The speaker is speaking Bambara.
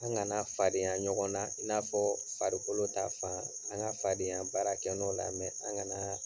An kana fadenya ɲɔgɔn na i n'a fɔ farikolo ta fan an ka fadenya baara kɛ nɔn la an kana